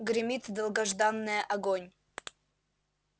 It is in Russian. гремит долгожданное огонь